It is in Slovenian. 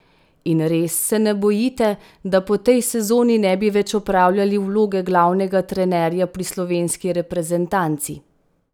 In res se ne bojite, da po tej sezoni ne bi več opravljali vloge glavnega trenerja pri slovenski reprezentanci?